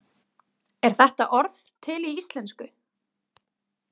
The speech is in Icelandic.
Er þetta orð til í íslensku?